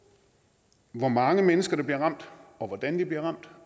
hvor mange mennesker der bliver ramt og hvordan de bliver ramt